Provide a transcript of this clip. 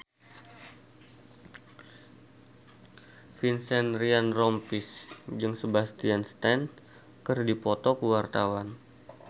Vincent Ryan Rompies jeung Sebastian Stan keur dipoto ku wartawan